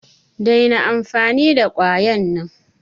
Daina amfani da kwayan nan!